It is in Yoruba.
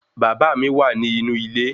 Bàbá mi wà nì inú ilé